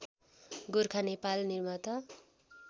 गोरखा नेपाल निर्माता